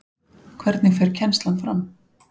Hvernig fer kennslan fram?